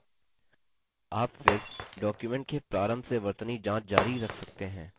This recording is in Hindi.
आप फिर document के प्रारंभ से वर्तनी जाँच जारी रख सकते हैं